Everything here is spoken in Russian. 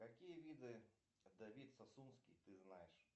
какие виды давид сасунский ты знаешь